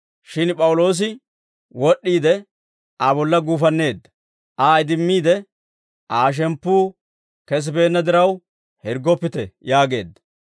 Shin P'awuloosi wod'd'iide, Aa bolla guufanneedda. Aa idimmiide, «Aa shemppuu kesibeenna diraw hirggoppite» yaageedda.